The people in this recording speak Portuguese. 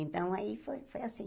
Então, aí foi foi assim.